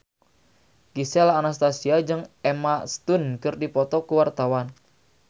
Gisel Anastasia jeung Emma Stone keur dipoto ku wartawan